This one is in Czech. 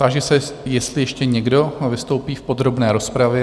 Táži se, jestli ještě někdo vystoupí v podrobné rozpravě?